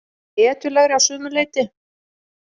Hetjulegri að sumu leyti.